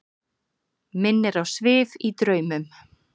Minnir á svif í draumum.